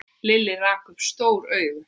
Lilli rak upp stór augu.